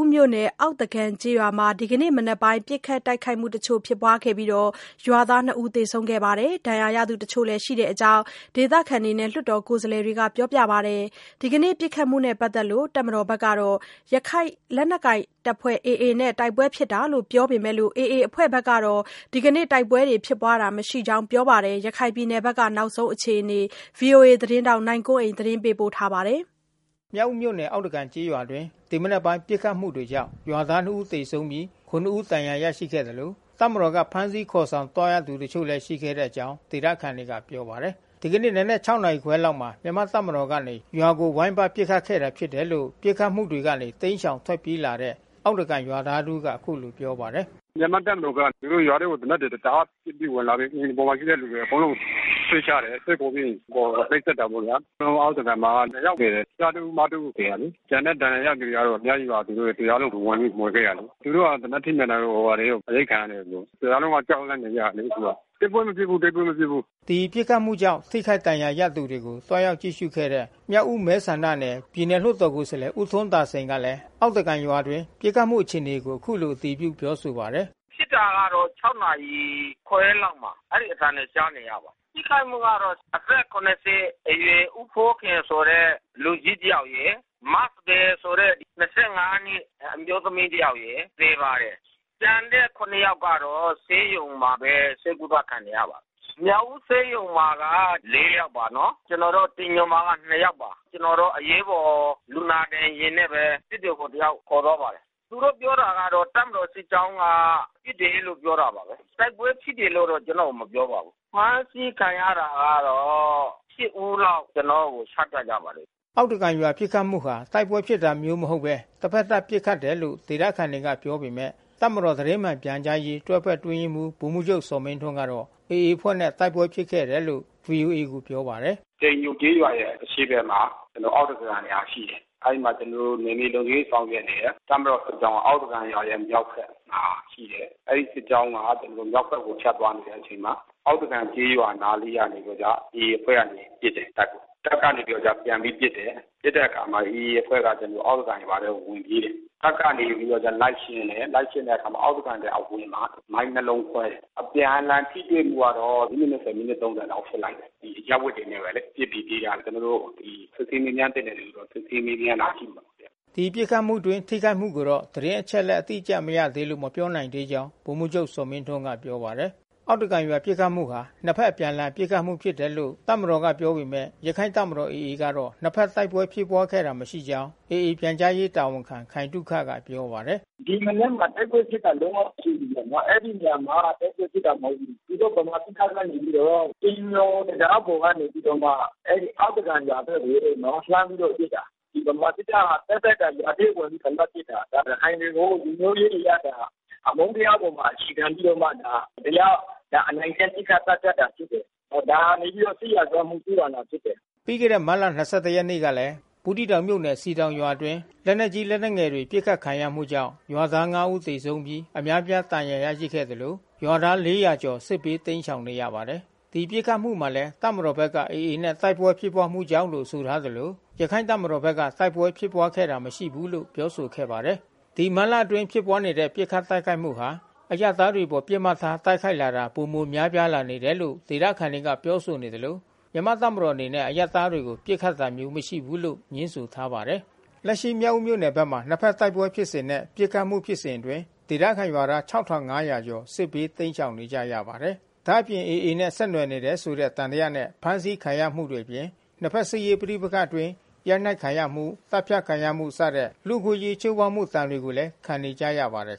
းမြို့နယ် အောက်သကန်ကျေးရွာမှာ ဒီကနေ့မနက်ပိုင်းက ပစ်ခတ်တိုက်ခိုက်မှု တချို့ ဖြစ်ပွားခဲ့ပြီး ရွာသား ၂ ဦးသေဆုံးပြီး ဒဏ်ရာရသူတချို့ ရှိတဲ့အကြောင်း ဒေသခံနဲ့ လွှတ်တော်ကိုယ်စားလှယ်တွေကပြောပါတယ်။ ဒီကနေ့ ပစ်ခတ်မှုနဲ့ပတ်သက်လို့ တပ်မတော်က ရခိုင်လက်နက်ကိုင်အဖွဲ့ AA နဲ့ တိုက်ပွဲဖြစ်တာလို့ ပြောပေမဲ့ AA အဖွဲ့ ကတော့ ဒီကနေ့ တိုက်ပွဲဖြစ်ပွားတာမရှိကြောင်း ပြောပါတယ်။ ရခိုင်ပြည်နယ်ဘက်က နောက်ဆုံး အခြေအနေကို ဗွီအိုအေ မြန်မာပိုင်းသတင်းထောက် နိုင်ကွန်းအိန်က သတင်းပေးပို့ထားပါတယ်။ မြောက်ဦးမြို့နယ် အောက်သကန်ကျေးရွာအတွင်း ဒီမနက်ပိုင်း ပစ်ခတ်မှုတွေကြောင့် ရွာ သား နှစ်ဦးသေဆုံးပြီး ခုနစ်ဦး ဒဏ်ရာရခဲ့သလို တပ်မတော်က ဖမ်းဆီးခေါ်ဆောင် ခံရသူ တချို့လည်းရှိခဲ့တဲ့အကြောင်း ဒေသခံတွေ ပစ်ခတ်မှုတွေကနေ တိမ်းရှောင် ထွက်ပြေး လာတဲ့ အောက်သ ကန်ရွာသားတဦးက အခုလို ပြောပါတယ်။ “မြန်မာ့တပ်မတော်က ရွာထဲကိုသေနတ်တွေ တအားပစ်ပြီး ဝင်လာတယ်။ အိမ်ပေါ်မှာ ရှိတဲ့ လူအကုန်လုံးကို ဆွဲချ တယ်။ ဆွဲခေါ်ပြီးရင် ခေါ်နှိပ်စက်တာပေါ့ဗျာ။ အားလုံး အောက်သကန်မှာ ၂ ယောက်သေတယ်။ ကျားတဦး၊ မ တ ဦး သေတာလေ။ ကျန်တဲ့ ဒဏ်ရာရတဲ့ သူအများကြီးပါ။ တရွာလုံးကိုဝင်ပြီး မွှေခဲ့တယ်လေ။ သေနတ်ထိမှန် တာ တွေရော အရိုက်ခံရတယ်သူတို့။ တရွာလုံးက ကြောက်လန့်နေကြတယ်လေ အခုက။ တိုက်ပွဲမဖြစ်ဘူး၊ တိုက်ပွဲ မဖြစ်ဘူး။” ဒီပစ်ခတ်မှုကြောင့် ထိခိုက်ဒဏ်ရာရသူတွေကို သွားရောက်ကြည့်ရှုခဲ့တဲ့ မြောက်ဦး မဲ ဆန္ဒနယ် ပြည်နယ် လွှတ်တော်ကိုယ်စားလှယ် ဦးထွန်းသာစိန်ကလည်း အောက်သကန် ရွာအတွင်း ပစ်ခတ်မှုအခြေအနေကို အခုလို အတည်ပြုပါတယ်။ “ဖြစ်တာကတော့ ၆ နာရီခွဲလောက်က အဲဒီအသံကြားရပါတယ်။ ထိခိုက်မှုကတော့ အသက် ၇၀ အရွယ် ဦးဖိုးခင်ဆိုတဲ့ လူကြီးတယောက်ရယ်။ မစံပယ်ဆိုတဲ့ ၂၅ နှစ် အမျိုး သမီးတယောက်ရယ် သေပါတယ်။ ကျန်တဲ့ ၇ ယောက်ကတော့ ဆေးရုံမှာပဲ ဆေးကုသ ခံနေရပါတယ်။ မြောက်ဦဆေးရုံမှာက ၄ ယောက်ပါနော်။ ကျနော်တို့ တိမ်ညိုမှာတော့ ၂ ယောက်ပါ။ အရေးပေါ်လူနာတင်ယာဉ်နဲ့ဘဲ စစ်တွေကိုတယောက်ခေါ်သွားပါတယ်။ သူတို့ ပြောတာကတော့ တပ်မတော်စစ်ကြောင်းက ပစ်တယ်လို့ပြောတာပါပဲ။ တိုက်ပွဲဖြစ်တယ် လို့တော့ ကျနော့်ကို မပြောပါဘူး။ အဖမ်းဆီးခံရတာကတော့ ၈ ဦးလောက် ကျနော့်ကို ချပြကြပါတယ်။” အောက်သကန်ရွာပစ်ခတ်မှုဟာ တိုက်ပွဲဖြစ်တာမျိုးမဟုတ်ဘဲ တဖက်သတ်ပစ်ခတ် တယ် လို့ ဒေသခံတွေက ပြောပေမဲ့ တပ်မတော်သတင်းမှန်ပြန်ကြားရေး တွဲဘက်အတွင်းရေးမှူး ဗိုလ်မှူးချုပ်ဇော်မင်းထွန်းကတော့ AA အဖွဲ့နဲ့ တိုက်ပွဲဖြစ်ခဲ့တာလို့ ဗွီအိုအေကို ပြောပါ တယ်။ “တိမ်ညိုကျေးရွာရဲ့အရှေ့ဘက်မှာ အောက်သကန်ဆိုတဲ့ရွာ ရှိတယ်။ အဲဒီမှာ ကျနော်တို့ နယ်မြေလုံခြုံရေး ဆောင်ရွက်နေတဲ့တပ်မတော်စစ်ကြောင်းက အောက်သကန်ရွာရဲ့ မြောက်ဘက်မှာ အဲဒီစစ်ကြောင်းက ဖြတ်သွား နေတဲ့အချိန်မှာ အောက်သကန် နားလေး က နေပြီးတော့မှ AA အဖွဲ့ကနေ တပ်ကို ပစ်တယ်။ တပ်ကနေပြီးတော့ ပြန်ပြီး ပစ်တယ်။ ပစ်တဲ့အခါမှာ AA အဖွဲ့က အောက်သကန်ရွာထဲဝင်ပြီး ပြေးတယ်။ တပ်ကနေပြီး လိုက်ရှင်း တယ်။ လိုက်ရှင်းတော့အောက်သကန်ရွာရဲ့အဝင်မှာ မိုင်းနှစ်လုံးခွဲတယ်။ အပြန်အလှန် ထိတွေ့မှုကတော့ မိနစ် ၂၀၊ မိနစ် ၃၀ လောက်ဖြစ်နိုင်တယ်။ အရပ်ဝတ်တွေနဲ့ပဲလေ ပစ်ပြီး ပြေးကြတယ်။ စစ်ဆေးမေးမြန်းသင့်တဲ့ လူတွေကို တော့ ကျနော်တို့ စစ်ဆေး မေးမြန်း တာ ရှိပါတယ်။” ဒီလိုပစ်ခတ်မှုအတွင်း ထိခိုက်မှုကိုတော့ သတင်းအချက်အလက် အတိအကျမရသေးလို့ မပြောနိုင်သေးကြောင်း ဗိုလ်မှူးချုပ်ဇော်မင်းထွန်းက ပြောပါတယ်။ အောက်သကန်ရွာပစ်ခတ်မှုဟာ နှစ်ဘက် အပြန်အလှန် ပစ်ခတ်မှုဖြစ်တယ်လို့ တပ်မတော် ကပြောပေမဲ့ ရခိုင့် တပ်မတော် AA ကတော့ နှစ်ဘက်တိုက်ပွဲဖြစ်ခဲ့တာ မရှိကြောင်း AA ပြန်ကြားရေးတာဝန်ခံခိုင်သုခက ပြောဆို ပါတယ်။ “ဒီမနက်မှာတိုက်ပွဲဖြစ်တာလုံးဝ မရှိဘူးဗျနော်။ အဲဒီရွာမှာတိုက်ပွဲဖြစ်တာမဟုတ်ဘူး။ သူ တို့ ဗမာစစ်တပ်က နေပြီးတော့ တိမ်ညိုတံတားပေါ်ကနေပြီးတော့မှ အောက်သကန်ရွာ ဘက်ကိုလှမ်းပြီးတော့ပစ်တာ။ ဒီဗမာစစ်တပ် ဟာ သက်သက် ရွာထဲဝင်ပြီး အဓမ္မပစ်တာ။ ဒါ ရခိုင်တွေကိုလူမျိုးရေးအရအမုန်းတရားအပေါ် အခြေခံပြီးတော့ မတရားအနိုင်ကျင့် ပစ်ခတ်သတ်ဖြတ်တာဖြစ်တယ်။ ဒါဟာနေပြီးတော့ စစ်ရာဇဝတ်မှု ကျူးလွန်တာဖြစ်တယ်။” ပြီးခဲ့တဲ့မတ်လ ၂၁ ရက်နေ့ကလည်း ဘူးသီးတောင် မြို့နယ်စည်တောင်ရွာအတွင်းမှာ လက်နက်ကြီး လက်နက်ငယ်တွေနဲ့ ပစ်ခတ်ခံရမှုကြောင့်ရွာသား ၅ ဦးသေဆုံးပြီး အများ အပြားဒဏ်ရာရရှိခဲ့သလို လူဦးရေ ၄၀၀ ကျော် စစ်ဘေးတိမ်းရှောင်နေရပါတယ်။ ဒီပစ်ခတ်မှုမှာလည်း တပ်မတော်ဘက်က AA နဲ့ တိုက်ပွဲဖြစ်ပွါးမှုကြောင့်လို့ ပြောဆို ထားသလို ရခိုင့်တပ်မတော် ဘက်က တိုက်ပွဲဖြစ်ပွါးခဲ့တာမရှိဘူးလို့ ပြောဆိုခဲ့ပါတယ်။ မတ်လအတွင်းဖြစ်ပွါးနေတဲ့ ပစ်ခတ်တိုက်ခိုက်မှုဟာ အရပ်သားတွေအပေါ်ပစ်မှတ်ထား တိုက်ခိုက်လာတာ ပိုမို များပြားလာနေတယ်လို့ ဒေသခံတွေကပြောဆိုနေသလို မြန်မာ့ တပ်မတော်အနေနဲ့ အရပ်သားတွေကို ပစ်ခတ် တာမရှိဘူးလို့ ငြင်းဆိုထားပါတယ်။ လက်ရှိမြောက်ဦးမြို့နယ်ဘက်မှာ နှစ်ဖက်တိုက်ပွဲဖြစ်စဉ်နဲ့ ပစ်ခတ်မှုဖြစ်စဉ်အတွင်း ဒေသခံရွာသား ၆၅၀၀ ကျော် စစ်ဘေးတိမ်းရှောင်နေကြရပါတယ်။ ဒါ့အပြင် AA နဲ့ဆက်နွယ်နေတယ်ဆိုတဲ့သံသယနဲ့ ဖမ်းဆီးခံနေရမှုတွေအပြင် နှစ်ဖက် စစ်ရေးပဋိပက္ခအတွင်း ရိုက်နှက်ခံရမှု သတ်ဖြတ်ခံရမှုစတဲ့ လူ့အခွင့်အရေးချိုးဖေါက်မှု ဒဏ်တွေကိုလည်း ခံနေကြရပါတယ်